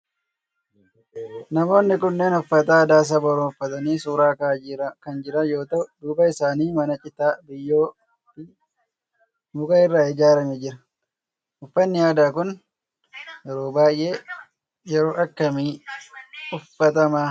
Namoonni kunneen uffata aadaa saba oromoo uffatanii suuraa ka'aa kan jiran yoo ta'u duuba isaanii mana citaa, biyyoo fi muka irraa ijaarame jira. Uffannii aadaa kun yeroo baayyee yeroo akkamii uffatama?